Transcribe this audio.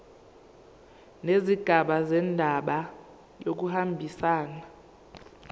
nezigaba zendaba kuyahambisana